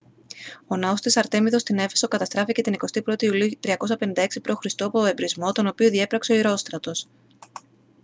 ο ναός της αρτέμιδος στην έφεσο καταστράφηκε την 21η ιουλίου 356 π.χ. από εμπρησμό τον οποίο διέπραξε ο ηρόστρατος